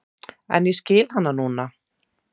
En ég skil hana nú.